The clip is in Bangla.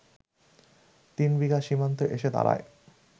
তিনবিঘা সীমান্তে এসে দাঁড়ায়